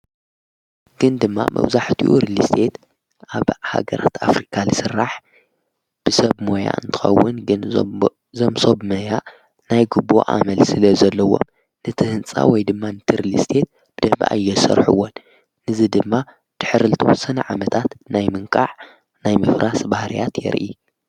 ግን ድማ መብዛሕትኡ ሪልስቴት ኣብ ሃገራት ኣፍሪካ ዝስራሕ ብሰብ ሞያ እንትኸውን ግን እዘም ሰብ ሞያ ናይ ግቦ ኣመል ስለ ዘለዎም ንቲ ሕንጻ ወይ ድማ ነቲ ሪልስቴት ብደንቢ ኣየስርሕዎን። ነዚ ድማ ድሕሪ ዝተወሰኑ ዓመታት ናይ ምንቃዕ ናይ ምፍራስ ባህርያት የርኢ።